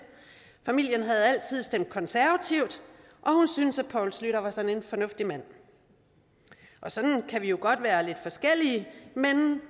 familien havde altid stemt konservativt og hun syntes at poul schlüter var sådan en fornuftig mand sådan kan vi jo godt være lidt forskellige men